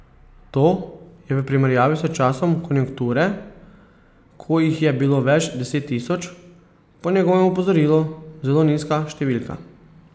To je v primerjavi s časom konjunkture, ko jih je bilo več deset tisoč, po njegovem opozorilu zelo nizka številka.